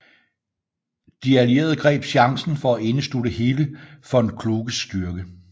De allierede greb chancen for at indeslutte hele von Kluges styrke